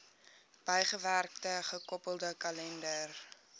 bygewerkte gekoppelde kalender